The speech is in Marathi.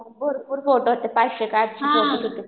भरपूर फोटो होते पाचशे का आठशे काहीतरी.